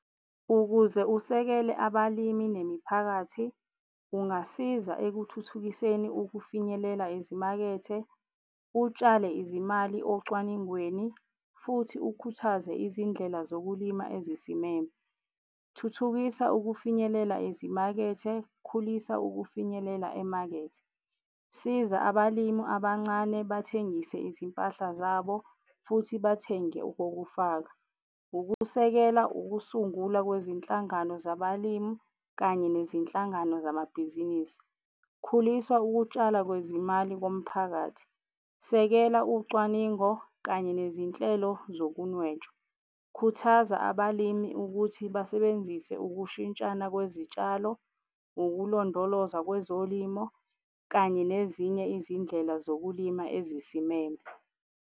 Ukuze usekele abalimi nemiphakathi ungasiza ekuthuthukiseni ukufinyelela izimakethe, utshale izimali ocwaningweni futhi ukhuthaze izindlela zokulima ezizimele. Thuthukisa ukufinyelela ezimakethe, khulisa ukufinyelela emakethe. Siza abalimi abancane bathengise izimpahla zabo futhi bathenge okokufaka. Ukusekela ukusungulwa kwezinhlangano zabalimi kanye nezinhlangano zamabhizinisi. Khulisa ukutshalwa kwezimali komphakathi, sekela ucwaningo kanye nezinhlelo zokunwetshwa. Khuthaza abalimi ukuthi basebenzise ukushintshana kwezitshalo, ukulondolozwa kwezolimo kanye nezinye izindlela zokulima ezisimeme.